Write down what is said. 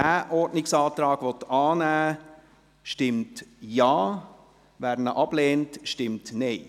Wer diesen Ordnungsantrag annehmen will, stimmt Ja, wer diesen ablehnt, stimmt Nein.